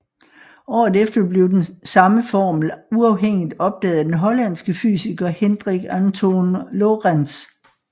Året efter blev samme formel uafhængigt opdaget af den hollandske fysiker Hendrik Antoon Lorentz